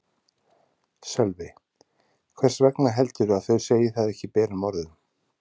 Sölvi: Hvers vegna heldurðu að þau segi það ekki berum orðum?